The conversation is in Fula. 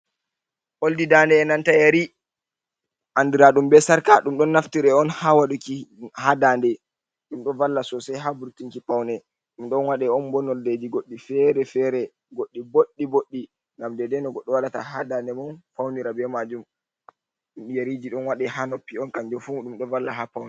Oldi dande e nanta yari andiraɗum be sarka ɗum ɗo naftira on ha waɗuki ha dande ɗum ɗo valla sosai ha vurtinki paune ɗum ɗon waɗe on bo nondeji goɗɗi fere-fere goɗɗi boɗɗi boɗɗi ngam dai dai no goɗɗo waɗata ha dande mun faunira be majum ɗum yariji ɗo wada ha noppi on kanjum fu ɗum ɗo valla ha paune.